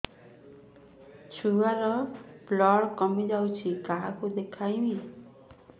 ଛୁଆ ର ବ୍ଲଡ଼ କମି ଯାଉଛି କାହାକୁ ଦେଖେଇବି